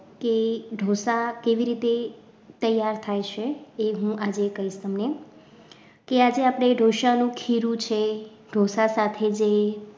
કે ઢોસા કેવી રીતે તૈયાર થાય છે એ હું આજે કહીશ તમને કે આજે આપણે ઢોસાનું ખીરું છે ઢોસા સાથે જે